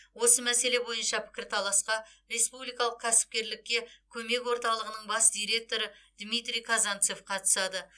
осы мәселе бойынша пікірталасқа республикалық кәсіпкерлікке көмек орталығының бас директоры дмитрий казанцев қатысады